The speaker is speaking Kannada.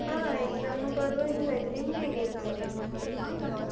ಹಾ exam ಪರವಾಗಿಲ್ಲ ಇತ್ತು, ನಿಮ್ಗ್ ಹೇಗಿತ್ತು?